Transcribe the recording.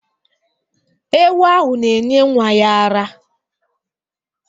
Ewu ahụ na-enye nnwa ya ara.